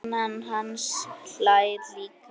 Konan hans hlær líka.